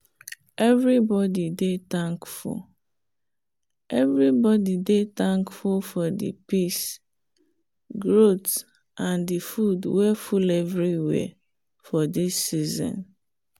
everybody dey thankful everybody dey thankful for the peace growth and the food way full everywhere for this season.